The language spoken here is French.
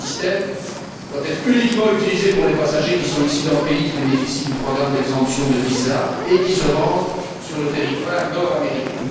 Ce système doit être uniquement utilisé pour les passagers qui sont issus d'un pays qui bénéficie du programme d'exemption de visa et qui se rendent sur le territoire nord américain.